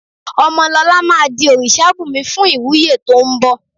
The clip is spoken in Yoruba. Ọmọlọlá máa di òrìṣàbùnmi fún ìwúyè tó ń bọ